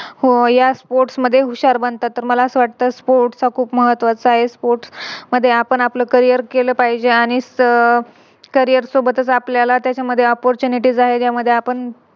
हो या Sports मध्ये हुशार बनतात तर मला असं वाटत Sports खूप महत्त्वाचा आहे. Sports मध्ये आपण आपलं Career केलं पाहिजे आणि Career सोबतच आपल्याला त्याच्यामध्ये ज्या Oppurtunities आहेत त्या आपण